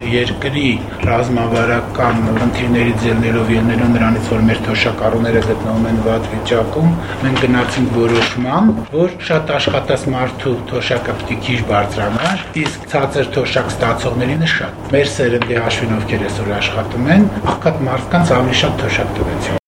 Երկրի ռազմավարական խնդիրներից ելնելով, ելնելով նրանից, որ մեր թոշակառուները գտնվում են ծանր վիճակում, մենք գնացինք որոշման, որ շատ աշխատած մարդու թոշակը պիտի քիչ բարձրանա, իսկ ցածր թոշակ ստացողներինը՝ շատ: Մեր սերնդի հաշվին, ովքեր այսօր աշխատում են, աղքատ մարդկանց ավելի շատ թոշակ տվեցինք»: